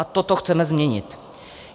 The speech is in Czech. A toto chceme změnit.